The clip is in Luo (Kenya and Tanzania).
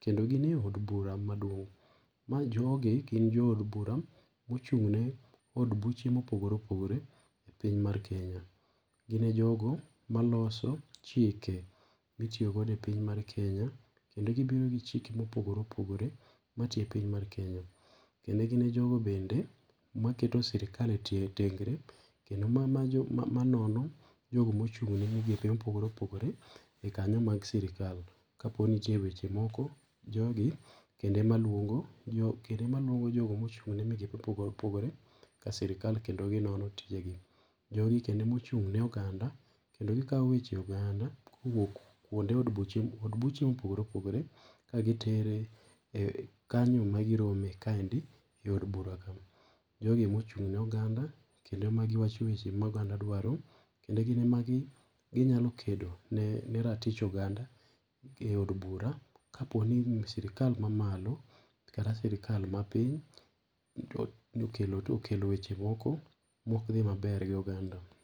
kendo ginie eod bura maduong'.Mae jogi gin jo od bura mochung' ne od buche mopogore opogore epiny mar Kenya. Gine jogo maloso chike mitiyo godo epiny mar Kenya. Kendo gibiro gi chike mopogore opogore matiyo e piny mar Kenya. Kendo gin jogo bende maketo sirkal tie e tengre kendo ma majo manono jogo mochung ne migepe mopogore opogore e kanyo mar sirkal. Kaponi nitie weche moko, jogi kendo emaluongo, kendo emaluongo jo jogo mochung' ne migepe mopogore opogore ka sirkal kendo gi nono tijegi. Jogi kendo ema ochung'ne oganda kendo gi kawo weche oganda kowuok kuonde od buche ,od buche mopogore opogore ka gitero kanyo magi rome ka endi eod bura ka ma. Jogi ema ochung'ne oganda, kendo ema gi wacho weche ma oganda dwaro. Kendo gin ema gi gi nyalo kedo ne ne ratich oganda eod bura kaponi sirikal mamalo kata sirkal mapiny ni okelo to kelo weche moko mook dhi maber gi oganda.